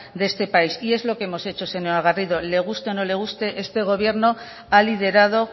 de este país y es lo que hemos hecho señora garrido le guste o no le guste este gobierno ha liderado